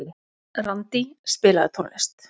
Randí, spilaðu tónlist.